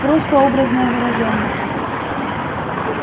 просто образное выражение